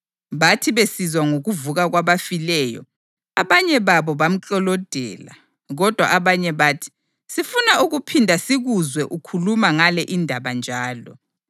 Bathi besizwa ngokuvuka kwabafileyo, abanye babo bamklolodela, kodwa abanye bathi, “Sifuna ukuphinda sikuzwe ukhuluma ngale indaba njalo.”